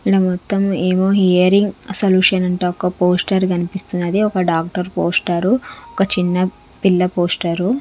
ఈడా మొత్తం ఎమో హియరింగ్ సొల్యూషన్స్ ఒక్క పోస్టర్ కనిపిస్తున్నది ఒక్క డాక్టర్ పోస్టర్ ఒక్క చిన్న పిల్ల పోస్టర్ .